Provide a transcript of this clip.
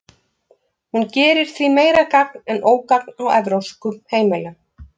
Hún gerir því meira gagn en ógagn á evrópskum heimilum.